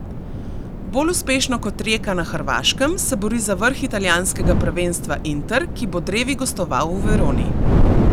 Bolj uspešno kot Rijeka na Hrvaškem se bori za vrh italijanskega prvenstva Inter, ki bo drevi gostoval v Veroni.